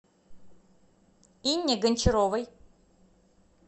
инне гончаровой